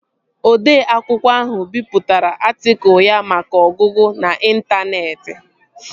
Odee akwụkwọ ahụ bipụtara atịkụl ya maka ọgụgụ n'intaneeti